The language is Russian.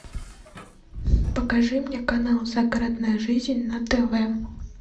покажи мне канал загородная жизнь на тв